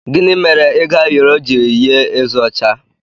Gịnị mere ego ayoro ji yie eze ọcha?